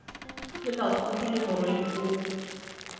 le makhudu le morwedi o